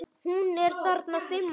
Hún er þarna fimm ára.